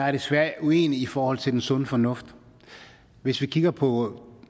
er desværre uenig i forhold til den sunde fornuft hvis vi kigger på